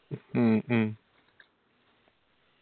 മ്മ്